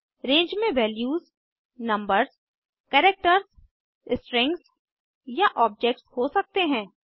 रंगे में values numbers characters strings या objects हो सकते हैं